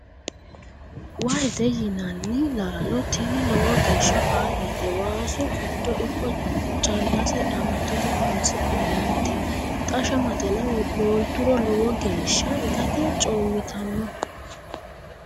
Wahete yinanni laalo tinni lowo geeshsha faayyate waasu giddo ikko callase qamattote horonis'nannite xa shamatenna molturo lowo geeshsha ittate coomittano.